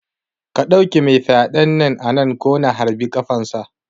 Ka ɗauke mai fyaɗen nan anan ko na harbi ƙafan sa